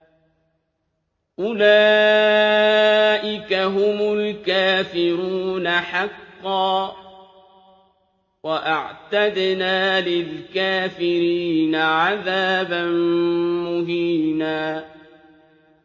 أُولَٰئِكَ هُمُ الْكَافِرُونَ حَقًّا ۚ وَأَعْتَدْنَا لِلْكَافِرِينَ عَذَابًا مُّهِينًا